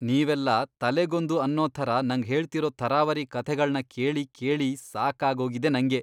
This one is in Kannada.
ನೀವೆಲ್ಲ ತಲೆಗೊಂದು ಅನ್ನೋ ಥರ ನಂಗ್ ಹೇಳ್ತಿರೋ ಥರಾವರಿ ಕಥೆಗಳ್ನ ಕೇಳಿ ಕೇಳಿ ಸಾಕಾಗೋಗಿದೆ ನಂಗೆ.